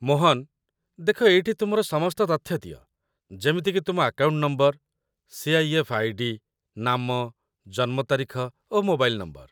ମୋହନ, ଦେଖ ଏଇଠି ତୁମର ସମସ୍ତ ତଥ୍ୟ ଦିଅ, ଯେମିତିକି ତୁମ ଆକାଉଣ୍ଟ ନମ୍ବର, ସି.ଆଇ.ଏଫ୍. ଆଇ.ଡି, ନାମ, ଜନ୍ମ ତାରିଖ, ଓ ମୋବାଇଲ୍ ନମ୍ବର